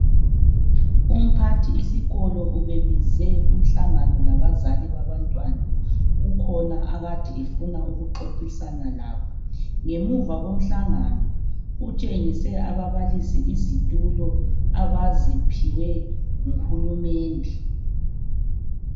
Umphathi isikolo ubebize umhlangano labazali babantwana. Kukhona akade efuna ukuxoxisana labo. Ngemuva komhlangano utshengise ababalisi izitulo abaziphiwe nguhulumende.